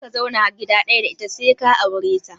Kar ka zauna gida ɗaya da ita sai ka aure ta!